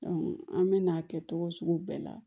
an bɛ n'a kɛ togo sugu bɛɛ la